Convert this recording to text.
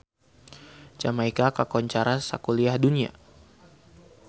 Jamaika kakoncara sakuliah dunya